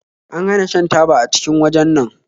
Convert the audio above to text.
An hana shan taba a cikin wajen nan